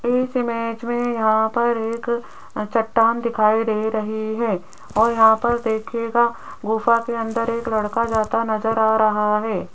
इस इमेज में यहां पर एक अ चट्टान दिखाई दे रही है और यहां पर देखिएगा गुफा के अंदर एक लड़का जाता नजर आ रहा है।